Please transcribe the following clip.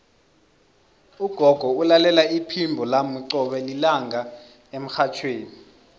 ugogo ulalela iphimbo lami qobe lilanga emrhatjhweni